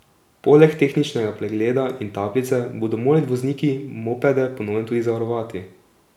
Poleg tehničnega pregleda in tablice bodo morali vozniki mopede po novem tudi zavarovati.